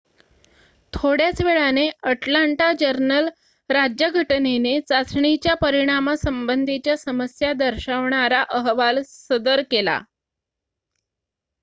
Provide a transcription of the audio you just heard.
थोड्याच वेळाने अटलांटा जर्नल-राज्यघटनेने चाचणीच्या परिणामासंबंधीच्या समस्या दर्शवणारा अहवाल सदर केला